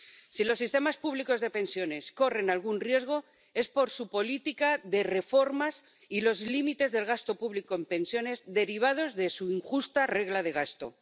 Si los sistemas públicos de pensiones corren algún riesgo, es por su política de reformas y los límites del gasto público en pensiones, derivados de su injusta regla de gasto.